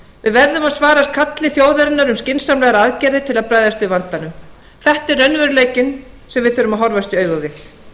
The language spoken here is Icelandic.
við verðum að svara kalli þjóðarinnar um skynsamlegar aðgerðir til að bregðast við vandanum þetta er raunveruleikinn sem við þurfum að horfast í augu við